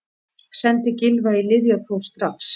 Sendið Gylfa í lyfjapróf strax!